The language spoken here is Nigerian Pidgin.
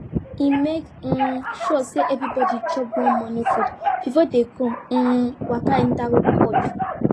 e make um sure say everybody chop warm morning food before dem go um waka enter cold